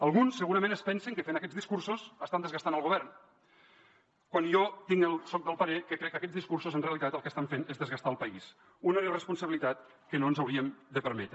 alguns segurament es pensen que fent aquests discursos estan desgastant el govern quan jo soc del parer que aquests discursos en realitat el que estan fent és desgastar el país una irresponsabilitat que no ens hauríem de permetre